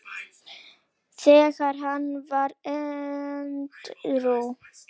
þegar hann varð edrú.